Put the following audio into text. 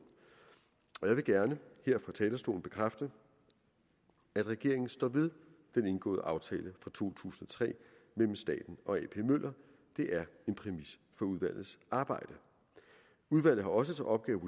jeg vil gerne her fra talerstolen bekræfte at regeringen står ved den indgåede aftale fra to tusind og tre mellem staten og ap møller det er en præmis for udvalgets arbejde udvalget har også til opgave